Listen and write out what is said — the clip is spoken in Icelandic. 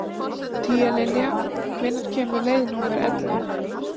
Tíalilja, hvenær kemur leið númer ellefu?